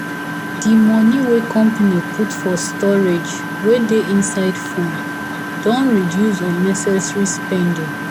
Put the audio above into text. the money wey company put for storage wey dey inside phone don reduce unnecessary spending.